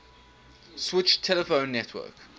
switched telephone network